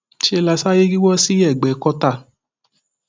ńṣe la sáré yíwọ sí ẹgbẹ kọta